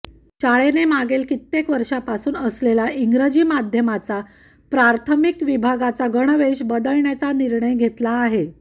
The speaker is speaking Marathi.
शाळेने मागील कित्येक वर्षापासून असलेला इंग्रजी माध्यमाचा प्राथमिक विभागाचा गणवेश बदलण्याचा निर्णय घेतला आहे